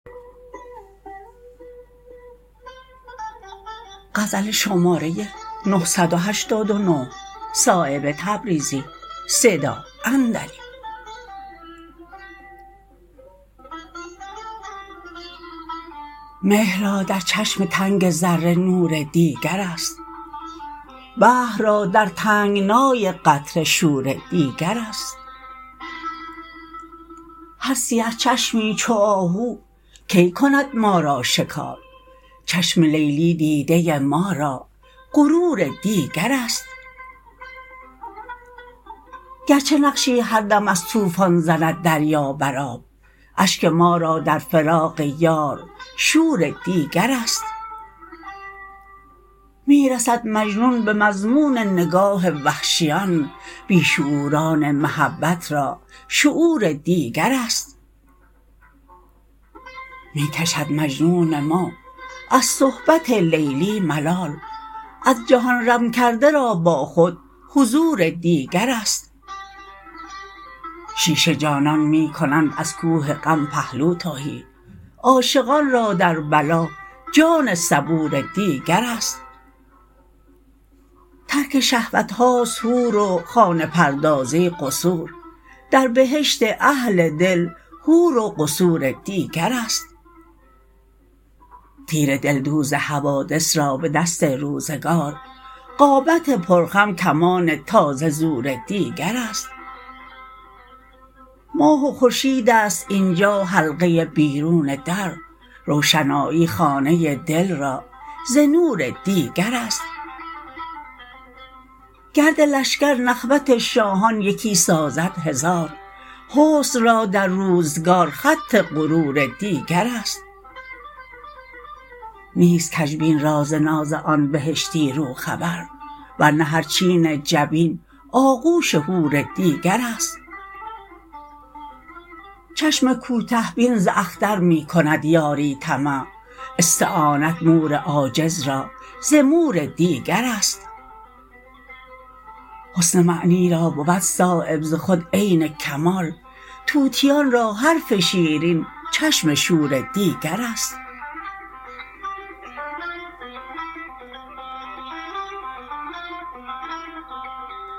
مهر را در چشم تنگ ذره نور دیگرست بحر را در تنگنای قطره شور دیگرست هر سیه چشمی چو آهو کی کند ما را شکار چشم لیلی دیده ما را غرور دیگرست گرچه نقشی هر دم از طوفان زند دریا بر آب اشک ما را در فراق یار شور دیگرست می رسد مجنون به مضمون نگاه وحشیان بی شعوران محبت را شعور دیگرست می کشد مجنون ما از صحبت لیلی ملال از جهان رم کرده را با خود حضور دیگرست شیشه جانان می کنند از کوه غم پهلو تهی عاشقان را در بلا جان صبور دیگرست ترک شهوت هاست حور و خانه پردازی قصور در بهشت اهل دل حور و قصور دیگرست تیر دلدوز حوادث را به دست روزگار قامت پر خم کمان تازه زور دیگرست ماه و خورشیدست اینجا حلقه بیرون در روشنایی خانه دل را ز نور دیگرست گرد لشکر نخوت شاهان یکی سازد هزار حسن را در روزگار خط غرور دیگرست نیست کج بین را ز ناز آن بهشتی رو خبر ورنه هر چین جبین آغوش حور دیگرست چشم کوته بین ز اختر می کند یاری طمع استعانت مور عاجز را ز مور دیگرست حسن معنی را بود صایب ز خود عین الکمال طوطیان را حرف شیرین چشم شور دیگرست